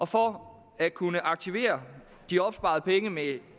for at kunne aktivere de opsparede penge med